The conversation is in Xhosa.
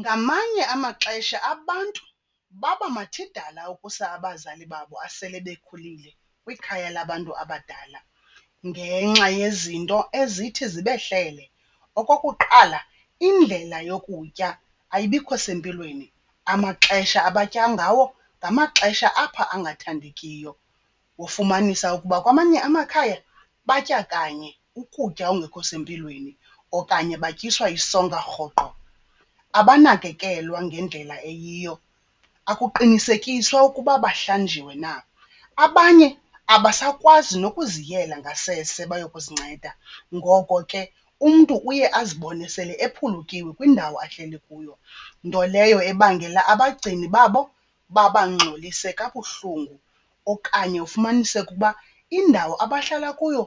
Ngamanye amaxesha abantu baba mathidala ukusa abazali babo asele bekhulile kwikhaya labantu abadala ngenxa yezinto ezithi zibehlele. Okokuqala, indlela yokutya ayibikho sempilweni, amaxesha abatya ngawo ngamaxesha apha angathandekiyo. Wofumanisa ukuba kwamanye amakhaya batya kanye ukutya ongekho sempilweni okanye batyiswa isonka rhoqo. Abanakekelwa ngendlela eyiyo, akuqinisekiswa ukuba bahlanjiwe na. Abanye abasakwazi nokuziyela ngasese bayokuzinceda ngoko ke umntu uye azibone sele ephulukiwe kwindawo ahleli kuyo, nto leyo ebangela abagcini babo babangxolise kabuhlungu. Okanye ufumaniseke uba indawo abahlala kuyo